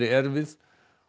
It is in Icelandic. erfið